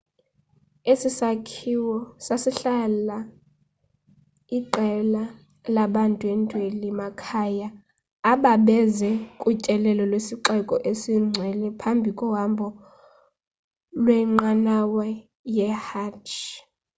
esi sakhiwo sasihlala iqela labandwendweli makhaya ababeze kutyelelo lwesixeko esingcwele phambi kohambo lwenqanawa yehajj